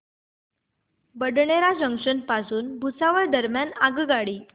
Badnera junction पासून भुसावळ दरम्यान आगगाडी